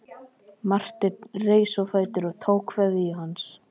Marteinn reis á fætur og tók kveðju hans.